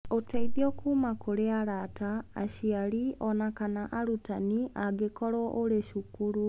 Ũteithio kuuma kũrĩ arata, aciari, o na kana arutani angĩkorũo ũrĩ cukuru